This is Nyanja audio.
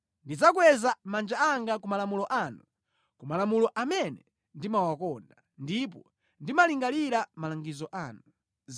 Ndikweza manja anga ku malamulo anu, ku malamulo amene ndimawakonda, ndipo ndimalingalira malangizo anu.